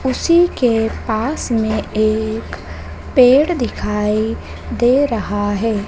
उसी के पास में एक पेड़ दिखाई दे रहा है।